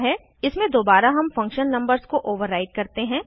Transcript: इसमें दोबारा हम फंक्शन नंबर्स को ओवर्राइड करते हैं